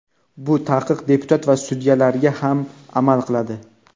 Bu taqiq deputat va sudyalarga ham amal qiladi.